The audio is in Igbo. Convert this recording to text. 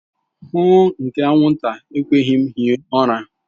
Huuuu nke anwụnta ekweghị m hie ụra.